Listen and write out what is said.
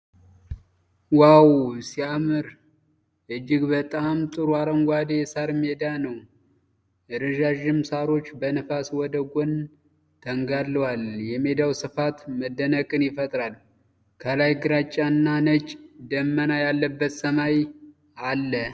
ዋው! የሚያምርና እጅግ በጣም ጥሩ አረንጓዴ የሳር ሜዳ ነው። ረዣዥም ሳሮች በንፋስ ወደ ጎን ተንጋለዋል። የሜዳው ስፋት መደነቅን ይፈጥራል። ከላይ ግራጫና ነጭ ደመና ያለበት ሰማይ አለ።